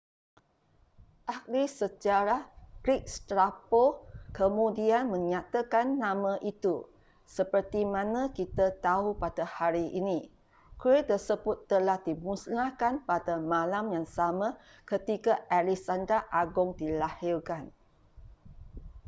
ahli sejarah greek strabo kemudian menyatakan nama itu sepertimana kita tahu pada hari ini kuil tersebut telah dimusnahkan pada malam yang sama ketika alexander agung dilahirkan